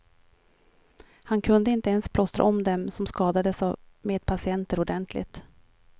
Han kunde inte ens plåstra om dem som skadades av medpatienter ordentligt.